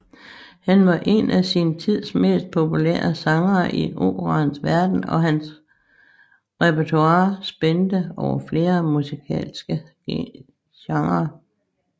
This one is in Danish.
Han var en af sin tids mest populære sangere i operaens verden og hans repertoire spændte over flere musikalske genrer